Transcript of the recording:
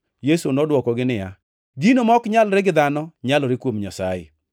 Yesu nodwokogi niya, “Gino ma ok nyalre gi dhano, nyalore kuom Nyasaye.”